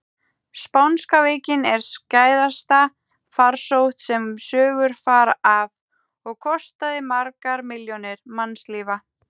Spánska veikin er skæðasta farsótt sem sögur fara af og kostaði margar milljónir mannslífa.